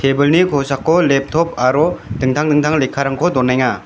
kosako leptop aro dingtang dingtang lekkarangko donenga.